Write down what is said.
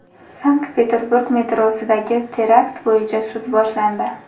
Sankt-Peterburg metrosidagi terakt bo‘yicha sud boshlandi.